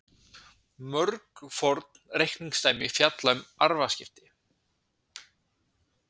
mörg forn reikningsdæmi fjalla um arfaskipti